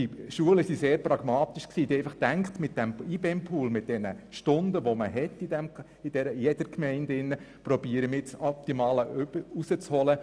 Die Schulen haben sehr pragmatisch entschieden und wollten aus dem IBEMPool, aus diesen Stunden, die den Gemeinden zustehen, das Optimum herausholen.